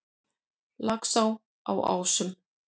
Laxá á Ásum